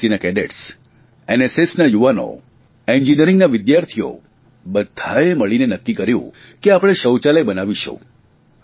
એનસીસીના cadets એનએસએસના યુવાનો એન્જીનિયરીંગના વિદ્યાર્થીઓ બધ્ધાંએ મળીને નક્કી કર્યું કે આપણે શૌચાલય બનાવીશું